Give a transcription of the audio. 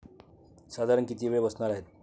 साधारण किती वेळ बसणार आहेत?